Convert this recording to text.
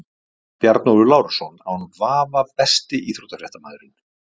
Bjarnólfur Lárusson án vafa Besti íþróttafréttamaðurinn?